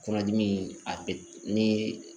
Kɔnɔdimi a bɛ ni